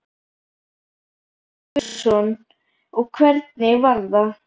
Hafþór Gunnarsson: Og hvernig var það?